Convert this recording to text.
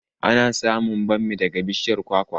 Ana samun bammi daga bishiyar kwakwa